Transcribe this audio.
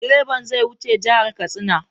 Direban zai wuce jihar Katsina.